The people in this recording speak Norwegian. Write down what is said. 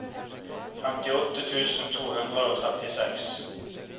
femtiåtte tusen to hundre og trettiseks